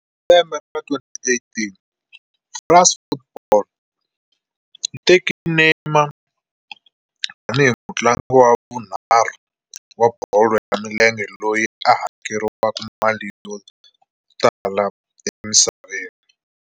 Hi lembe ra 2018, "France Football" yi veke Neymar tani hi mutlangi wa vunharhu wa bolo ya milenge loyi a hakeriwaka mali yo tala emisaveni.